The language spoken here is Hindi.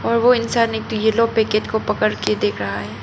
वो इंसान एक येलो पैकेट को पकड़ के देख रहा है।